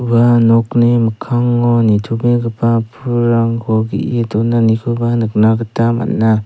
ua nokni mikkango nitobegipa pulrangko ge·e donanikoba nikna gita man·a.